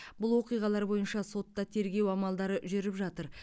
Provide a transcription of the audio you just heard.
бұл оқиғалар бойынша сотта тергеу амалдары жүріп жатыр